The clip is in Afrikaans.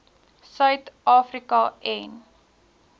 suid afrika en